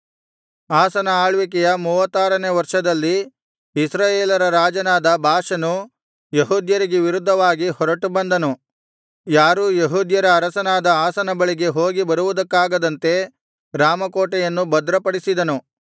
ಆಸನ ಆಳ್ವಿಕೆಯ ಮೂವತ್ತಾರನೆಯ ವರ್ಷದಲ್ಲಿ ಇಸ್ರಾಯೇಲರ ರಾಜನಾದ ಬಾಷನು ಯೆಹೂದ್ಯರಿಗೆ ವಿರುದ್ಧವಾಗಿ ಹೊರಟುಬಂದನು ಯಾರೂ ಯೆಹೂದ್ಯರ ಅರಸನಾದ ಆಸನ ಬಳಿಗೆ ಹೋಗಿ ಬರುವುದಕ್ಕಾಗದಂತೆ ರಾಮ ಕೋಟೆಯನ್ನು ಭದ್ರಪಡಿಸಿದನು